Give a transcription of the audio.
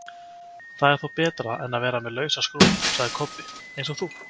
Það er þó betra en að vera með lausa skrúfu, sagði Kobbi, eins og þú!